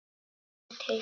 Ég er til